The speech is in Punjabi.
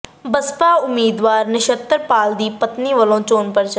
ਬਸਪਾ ਉਮੀਦਵਾਰ ਨਛੱਤਰ ਪਾਲ ਦੀ ਪਤਨੀ ਵੱਲੋਂ ਚੋਣ ਪ੍ਰਚਾਰ